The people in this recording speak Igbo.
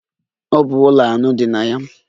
Ọ bụ ụlọ anọ dị na ya.